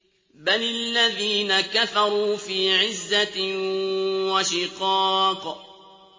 بَلِ الَّذِينَ كَفَرُوا فِي عِزَّةٍ وَشِقَاقٍ